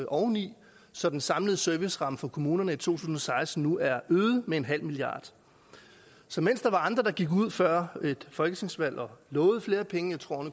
oveni så den samlede serviceramme for kommunerne i to tusind og seksten nu er øget med en halv milliard så mens der var andre der gik ud før et folketingsvalg og lovede flere penge jeg tror